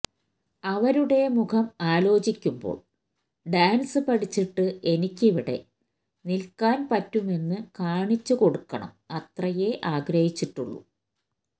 അവരുടെ മുഖം ആലോചിക്കുമ്പോൾ ഡാൻസ് പഠിച്ചിട്ട് എനിക്കിവിടെ നിൽക്കാൻ പറ്റുമെന്ന് കാണിച്ചുകൊടുക്കണം അത്രയേ ആഗ്രഹിച്ചിട്ടുള്ളൂ